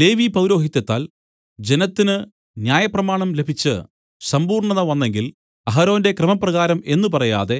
ലേവി പൗരോഹിത്യത്താൽ ജനത്തിന് ന്യായപ്രമാണം ലഭിച്ച് സമ്പൂർണ്ണത വന്നെങ്കിൽ അഹരോന്റെ ക്രമപ്രകാരം എന്നു പറയാതെ